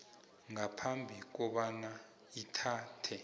ngaphambi kobana ithathe